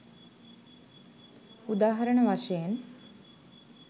උදාහරණ වශයෙන්